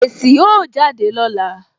Èsì ó jáde lọ́la